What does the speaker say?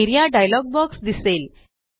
A R E A dialog box दिसेल